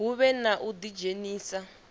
hu vhe na u ḓidzhenisa